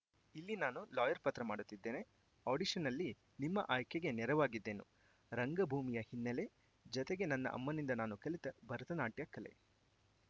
ಇಲ್ಲಿ ನಾನು ಲಾಯರ್‌ ಪಾತ್ರ ಮಾಡುತ್ತಿದ್ದೇನೆ ಆಡಿಷನ್‌ನಲ್ಲಿ ನಿಮ್ಮ ಆಯ್ಕೆಗೆ ನೆರವಾಗಿದ್ದೇನು ರಂಗಭೂಮಿಯ ಹಿನ್ನೆಲೆ ಜತೆಗೆ ನನ್ನ ಅಮ್ಮನಿಂದ ನಾನು ಕಲಿತ ಭರತನಾಟ್ಯ ಕಲೆ